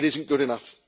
It is not good enough.